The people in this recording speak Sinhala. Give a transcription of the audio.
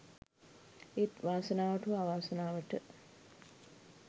ඒත් වාසනාවට හෝ අවාසනාවට